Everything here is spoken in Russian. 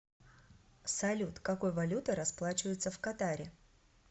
салют какой валютой расплачиваются в катаре